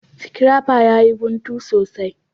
Scrapper ya yi guntu sosai.